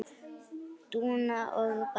Dúna og Barði.